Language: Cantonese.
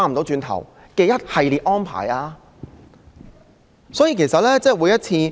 這一系列安排會否是一條不歸路？